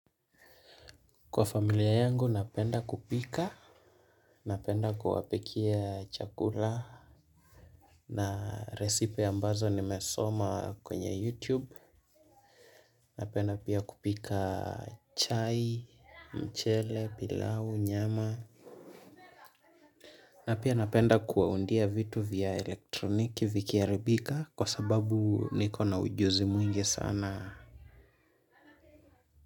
Kwa familia yangu napenda kupika napenda kuwapikia chakula na recipe ambazo nimesoma kwenye youtube napenda pia kupika chai, mchele, pilau, nyama napenda kuwaundia vitu vya elektroniki vikiharibika kwa sababu niko na ujuzi mwingi sana.